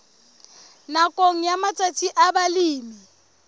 nakong ya matsatsi a balemi